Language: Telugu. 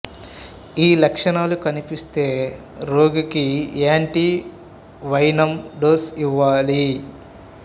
ఈ లక్షణాలు కనిపిస్తే రోగికి యాంటీ వెనమ్ డోసు ఇవ్వాలి